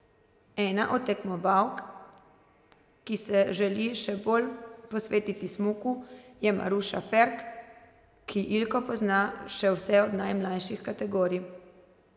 Ena od tekmovalk, ki se želi še bolj posvetiti smuku, je Maruša Ferk, ki Ilko pozna še vse od najmlajših kategorij.